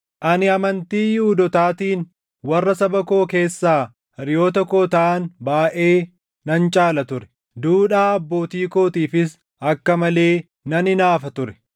Ani amantii Yihuudootaatiin warra saba koo keessaa hiriyoota koo taʼan baayʼee nan caala ture; duudhaa abbootii kootiifis akka malee nan hinaafa ture.